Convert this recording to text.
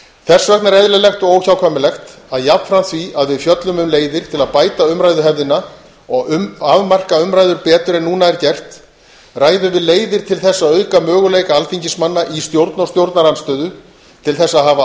þess vegna er eðlilegt og óhjákvæmilegt að jafnframt því að við fjöllum um leiðir til að bæta umræðuhefðina og afmarka umræður betur en núna er gert ræðum við leiðir til þess að auka möguleika alþingismanna í stjórn og stjórnarandstöðu til þess að hafa